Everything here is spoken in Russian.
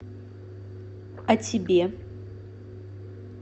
о тебе